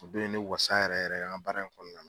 U bɛɛ ne wasa yɛrɛ yɛrɛ, an ka baara in kɔnɔna na.